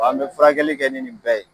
An be furakɛli kɛ ni nin bɛɛ ye